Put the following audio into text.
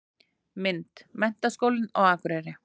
Mynd: Menntaskólinn á Akureyri.